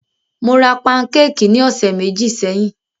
Mó rá pankékì ní ọ̀sẹ̀ méjì sẹ́yìn.